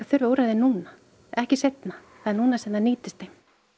þurfa úrræði núna ekki seinna það er núna sem það nýtist þeim